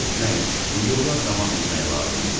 Getmək, yola davam etmək lazım idi.